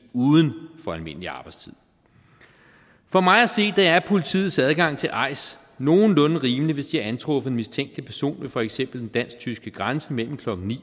uden for almindelig arbejdstid for mig at se er politiets adgang til ais nogenlunde rimelig hvis de har antruffet en mistænkelig person ved for eksempel den dansk tyske grænse mellem klokken ni